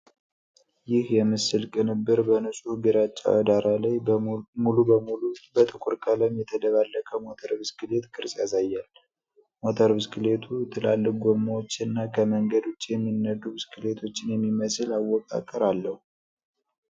ይህ የምስል ቅንብር በንጹህ ግራጫ ዳራ ላይ ሙሉ በሙሉ በጥቁር ቀለም የተደባለቀ ሞተር ብስክሌት ቅርጽ ያሳያል። ሞተር ብስክሌቱ ትላልቅ ጎማዎችና ከመንገድ ውጪ የሚነዱ ብስክሌቶችን የሚመስል አወቃቀር አለው።